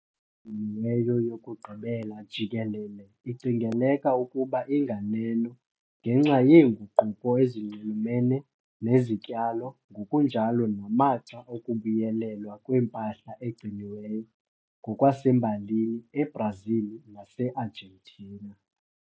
Impahla egciniweyo yokugqibela jikelele icingeleka ukuba inganeno ngenxa yeenguquko ezinxulumene nezityalo ngokunjalo namaxa okubuyelelwa kwempahla egciniweyo ngokwasembalini eBrazil naseArgentina.